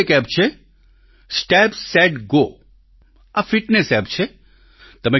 વધુ એક એપ છે સ્ટેપ સેટ Go આ ફિટનેસ એપ છે